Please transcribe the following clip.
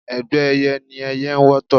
Ẹgbẹ́ ẹyẹ ni ẹyẹ n wọ́tọ̀